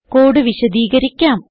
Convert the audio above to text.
code വിശദീകരിക്കാം